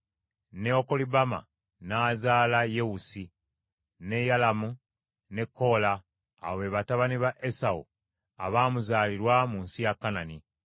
ne Okolibama n’azaala Yewusi, ne Yalamu ne Koola; abo be batabani ba Esawu abaamuzaalirwa mu nsi ya Kanani.